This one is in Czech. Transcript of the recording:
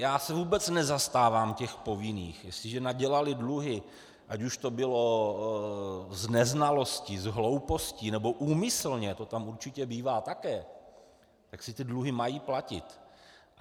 Já se vůbec nezastávám těch povinných, jestliže nadělali dluhy, ať už to bylo z neznalosti, z hlouposti, nebo úmyslně, to tam určitě bývá také, tak si ty dluhy mají platit.